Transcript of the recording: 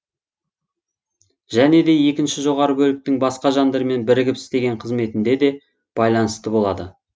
және де екінші жоғары бөліктің басқа жандармен бірігіп істеген қызметіне де байланысты болады